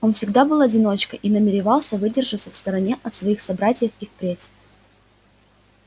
он всегда был одиночкой и намеревался выдержаться в стороне от своих собратьев и впредь